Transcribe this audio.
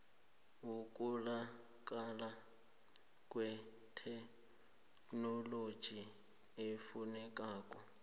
yokutholakala kwetheknoloji efunekako